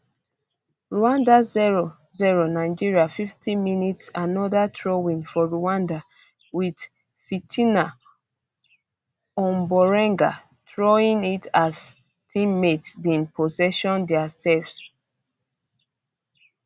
rwanda zero zero nigeria fifty mins anoda throwin for rwanda wit fitina omborenga throwing it as teammates bin possession dia sef